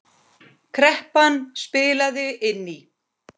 Kreppan spilaði inn í.